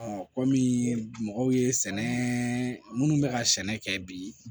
kɔmi mɔgɔw ye sɛnɛ minnu bɛ ka sɛnɛ kɛ bi